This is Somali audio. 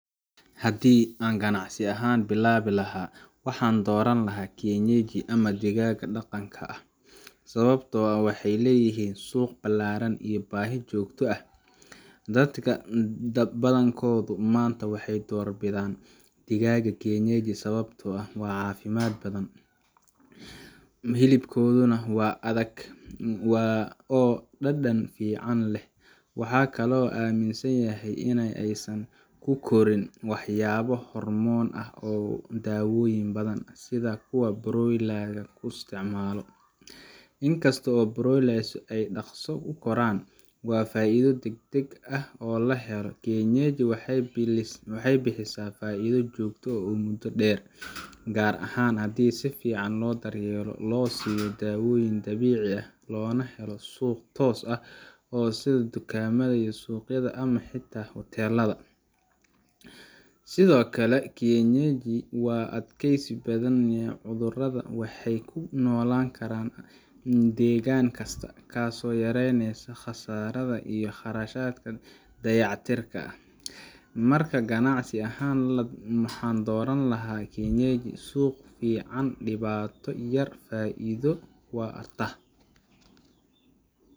Haddii aan ganacsi digaag ah bilaabi lahaa, waxaan dooran lahaa kienyeji ama digaagga dhaqanka ah, sababtoo ah waxay leeyihiin suuq ballaaran iyo baahi joogto ah. Dadka badankoodu maanta waxay doorbidaan digaagga kienyeji sababtoo ah waa caafimaad badan, hilibkooduna waa adag oo dhadhan fiican leh. Waxaa kaloo la aaminsan yahay in aysan ku korin waxyaabo hormoon ah ama daawooyin badan, sida kuwa broiler-ka loo isticmaalo. Inkastoo broilers ay dhaqso u koraan oo faa’iido degdeg ah la helo, kienyeji waxay bixisaa faa’iido joogto ah muddo dheer gaar ahaan haddii si fiican loo daryeelo, loo siiyo daawooyin dabiici ah, loona helo suuq toos ah sida dukaamada, suuqyada ama xitaa hoteellada. Sidoo kale, kienyeji waa u adkaysi badan cudurrada, waxayna ku noolaan karaan deegaan kasta, taasoo yareyneysa khasaaraha iyo kharashka dayactirka. Marka, ganacsi ahaan, waxaan dooran lahaa kienyeji suuq fiican, dhibaato yar, faa’iido waarta.